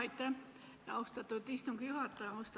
Austatud istungi juhataja!